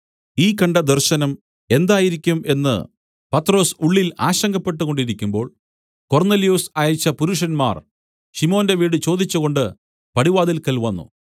ഈ കണ്ട ദർശനം എന്തായിരിക്കും എന്നു പത്രൊസ് ഉള്ളിൽ ആശങ്കപ്പെട്ടുകൊണ്ടിരിക്കുമ്പോൾ കൊർന്നൊല്യോസ് അയച്ച പുരുഷന്മാർ ശിമോന്റെ വീട് ചോദിച്ചുകൊണ്ട് പടിവാതിൽക്കൽ വന്നു